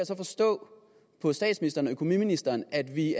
så forstå på statsministeren og på økonomiministeren at vi